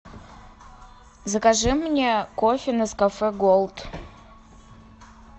закажи мне кофе нескафе голд